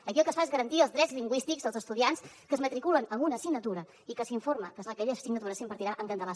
aquí el que es fa és garantir els drets lingüístics als estudiants que es matriculen en una assignatura i que s’informa que aquella assignatura s’impartirà en català